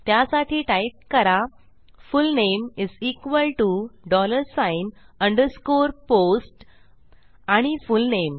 त्यासाठी टाईप करा full name underscore post आणि फुलनेम